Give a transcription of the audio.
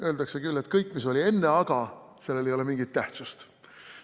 Öeldakse küll, et kõigel, mis oli enne "aga", ei ole mingit tähtsust.